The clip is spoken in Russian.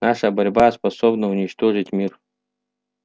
наша борьба способна уничтожить мир